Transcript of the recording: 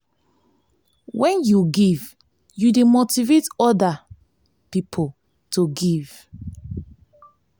wen yu give yu dey motivate oda motivate oda pipo to give.